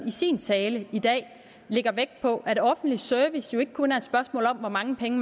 i sin tale i dag lægger vægt på at offentlig service ikke kun er et spørgsmål om hvor mange penge